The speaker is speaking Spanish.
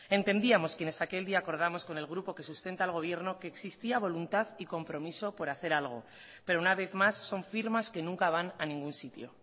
entendíamos quienes aquel día acordamos con el grupo que sustenta al gobierno que existía voluntad y compromiso por hacer algo pero una vez más son firmas que nunca van a ningún sitio